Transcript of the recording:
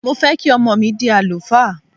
Mo fẹ́ kí ọmọ mi dí àlùfáà.